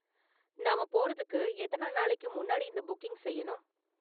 நாம போறதுக்கு எத்தனை நாளைக்கு முன்னாடி இந்த புக்கிங் செய்யணும்?